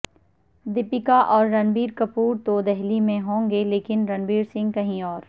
دیپیکا اور رنبیر کپور تو دہلی میں ہوں گے لیکن رنویر سنگھ کہیں اور